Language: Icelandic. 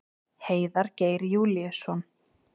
Heiðar Geir Júlíusson.